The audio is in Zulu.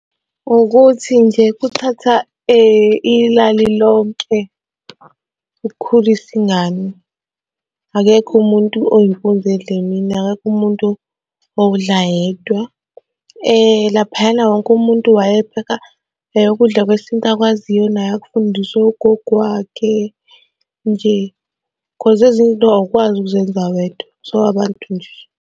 Ukuthi nje kuthatha ilali lonke ukukhulisa ingane. Akekho umuntu oyimpunzi edla emini, akekho umuntu owudla yedwa. Laphayana wonke umuntu wayepheka ukudla kwesintu akwaziyo naye akufundiswa ugogo wakhe nje cause ezinye izinto awukwazi ukuzenza wedwa, so abantu nje.